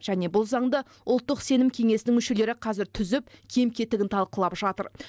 және бұл заңды ұлттық сенім кеңесінің мүшелері қазір түзіп кем кетігін талқылап жатыр